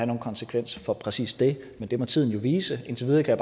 nogen konsekvenser for præcist det men det må tiden jo vise indtil videre kan